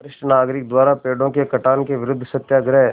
वरिष्ठ नागरिक द्वारा पेड़ों के कटान के विरूद्ध सत्याग्रह